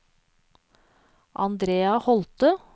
Andrea Holthe